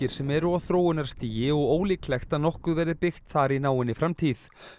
sem eru á þróunarstigi og ólíklegt að nokkuð verði byggt þar í náinni framtíð